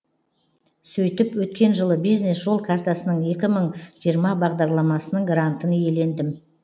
сөйтіп өткен жылы бизнес жол картасының екі мың жиырма бағдарламасының грантын иелендім